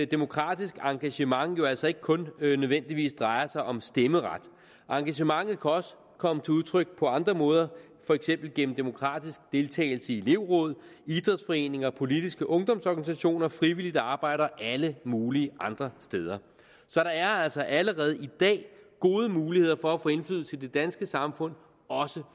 demokratisk engagement altså ikke kun nødvendigvis drejer sig om stemmeret engagementet også komme til udtryk på andre måder for eksempel gennem demokratisk deltagelse i elevråd idrætsforeninger og politiske ungdomsorganisationer frivilligt arbejde og alle mulige andre steder så der er altså allerede i dag gode muligheder for at få indflydelse i det danske samfund også